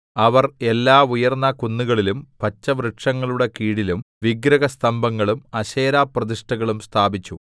അവർ എല്ലാ ഉയർന്ന കുന്നുകളിലും പച്ചവൃക്ഷങ്ങളുടെ കീഴിലും വിഗ്രഹസ്തംഭങ്ങളും അശേരാപ്രതിഷ്ഠകളും സ്ഥാപിച്ചു